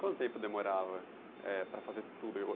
Quanto tempo demorava eh, para fazer tudo?